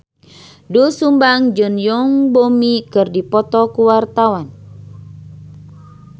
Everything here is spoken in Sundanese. Doel Sumbang jeung Yoon Bomi keur dipoto ku wartawan